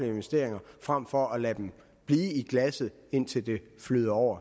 investeringer frem for at lade dem blive i glasset indtil det flyder over